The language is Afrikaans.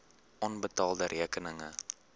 onbetaalde rekeninge